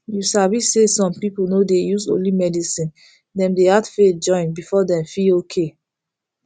you sabi say some people no dey use only medicine dem dey add faith join before dem feel okay